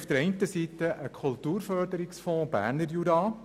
Einerseits haben wir einen Kulturförderungsfonds Berner Jura.